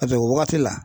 o wagati la